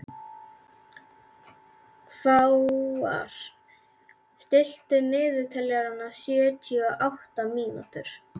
Hávarr, stilltu niðurteljara á sjötíu og átta mínútur.